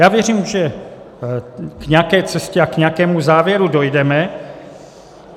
Já věřím, že k nějaké cestě a k nějakému závěru dojdeme.